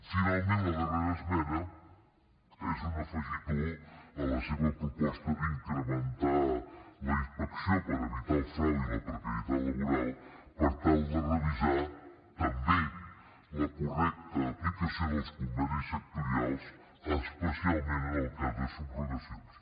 finalment la darrera esmena és un afegitó a la seva proposta d’incrementar la inspecció per evitar el frau i la precarietat laboral per tal de revisar també la correcta aplicació dels convenis sectorials especialment en el cas de subrogacions